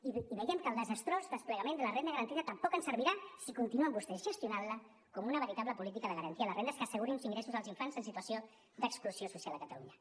i veiem que el desastrós desplegament de la renda garantida tampoc ens servirà si continuen vostès gestionant la com una veritable política de garantia de rendes que assegurin uns ingressos dels infants en situació d’exclusió social a catalunya